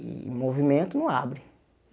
E o movimento não abre.